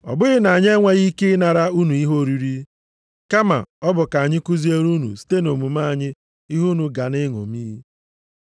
Ọ bụghị na anyị enweghị ikike ịnara unu ihe oriri, kama ọ bụ ka anyị kuziere unu site nʼomume anyị ihe unu ga na-eṅomi.